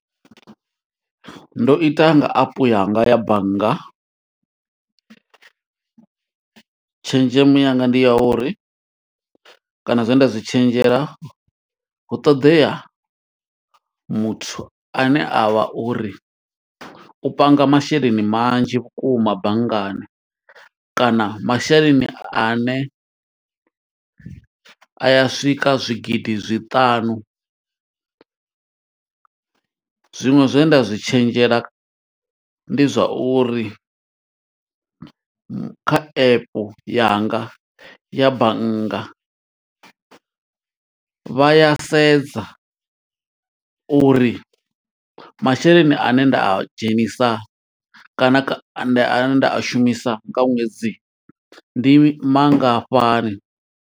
Ndo ita nga apu yanga ya bannga, tshenzhemo yanga ndi ya uri kana zwe nda zwi tshenzhela, hu ṱoḓea muthu ane a vha uri u panga masheleni manzhi vhukuma banngani, kana masheleni a ne a ya swika zwigidi zwiṱanu. Zwiṅwe zwe nda zwi tshenzhela ndi zwa uri, kha epe yanga ya bannga vha ya sedza, uri masheleni ane nda a dzhenisa kana kha, nda a shumisa nga ṅwedzi ndi mangafhani.